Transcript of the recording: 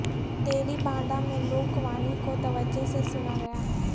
تیلی باندھا میں لوک وانی کو توجہ سے سناگیا